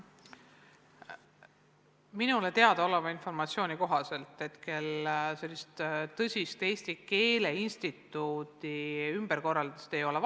Minule teadaoleva informatsiooni kohaselt hetkel sellist tõsist Eesti Keele Instituudi ümberkorraldust vaja ei ole.